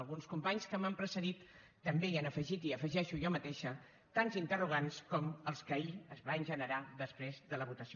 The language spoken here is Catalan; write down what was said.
alguns companys que m’han precedit també hi han afegit i afegeixo jo mateixa tants interrogants com els que ahir es van generar després de la votació